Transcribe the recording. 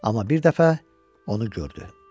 Amma bir dəfə onu gördü.